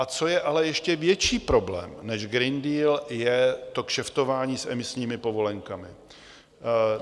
A co je ale ještě větší problém než Green Deal, je to kšeftování s emisními povolenkami.